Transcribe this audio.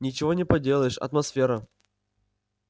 ничего не поделаешь атмосфера